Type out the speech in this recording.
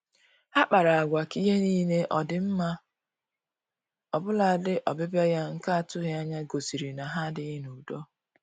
Ha kpara agwa ka ihe niile ọ dị mma, ọbụladị ọbịbịa ya nke atụghị anya gosiri na ha adịghị n'udo